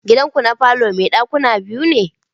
Gidanku ne falo mai dakuna biyu?